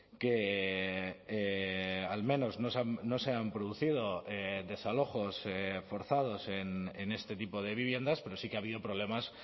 que al menos no se han producido desalojos forzados en este tipo de viviendas pero sí que ha habido problemas